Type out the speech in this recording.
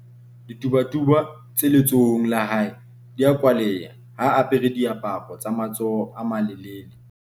ditubatuba tse letsohong la hae di a kwaleha ha a apare diaparo tsa matsoho a malelele